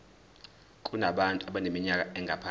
kubantu abaneminyaka engaphansi